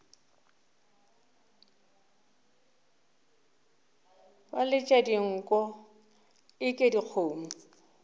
ba letša dinko eke dikgomo